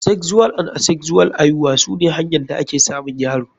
Sexual and Asexual aihuwa sune hanya da ake samun yaro.